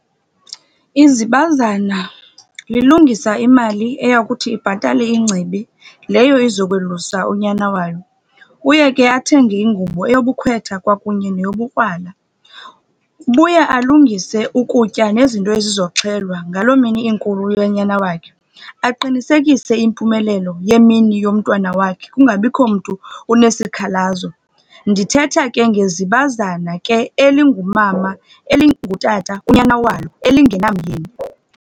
Izibazana lilungisa imali eya kuthi ibhatale ingcibi leyo izokwelusa unyana walo. Uye ke athenge ingubo eyobukhwetha kwakunye neyobukrwala. Ubuye alungise ukutya nezinto ezizoxhelwa ngaloo mini inkulu yonyana wakhe, aqinisekise impumelelo yemini yomntwana wakhe kungabikho mntu unesikhalazo. Ndithetha ke ngezibazana ke elingumama, elingutata kunyana walo, elingenamyeni.